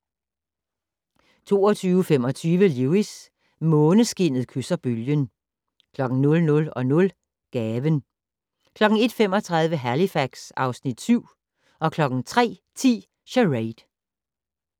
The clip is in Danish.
22:25: Lewis: Måneskinnet kysser bølgen 00:00: Gaven 01:35: Halifax (Afs. 7) 03:10: Charade